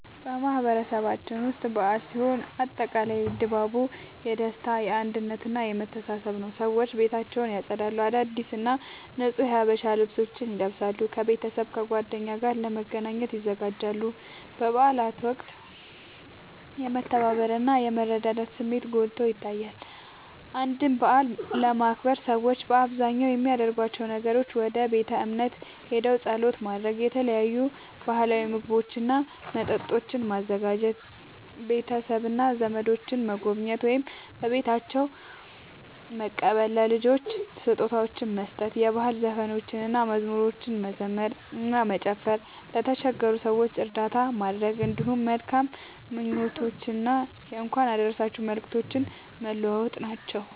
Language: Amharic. በማህበረሰባችን ውስጥ በዓል ሲኖር አጠቃላይ ድባቡ የደስታ፣ የአንድነት እና የመተሳሰብ ነዉ። ሰዎች ቤታቸውን ያጸዳሉ፣ አዳዲስ እና ንጹህ የሀበሻ ልብሶችን ይለብሳሉ፣ ከቤተሰብና ከጓደኞቻቸው ጋር ለመገናኘት ይዘጋጃሉ። በበዓላት ወቅት የመተባበር እና የመረዳዳት ስሜትን ጎልቶ ይታያል። አንድን በዓል ለማክበር ሰዎች በአብዛኛው የሚያደርጓቸው ነገሮች፦ ወደ ቤተ እምነት ሄደው ጸሎት ማድረግ፣ የተለያዩ ባህላዊ ምግቦችና መጠጦችን ማዘጋጀ፣ ቤተሰብና ዘመዶችን መጎብኘት ወይም በቤታቸው መቀበል፣ ለልጆች ስጦታዎችን መስጠት፣ የባህል ዘፈኖችንና መዝሙሮችን መዘመር እና መጨፈር፣ ለተቸገሩ ሰዎች እርዳታ ማድረግ፣ እንዲሁም መልካም ምኞቶችንና የእንኳን አደረሳችሁ መልእክቶችን መለዋወጥ ናቸዉ።